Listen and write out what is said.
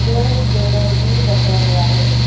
पर स्कैनर भी रखा हुआ है।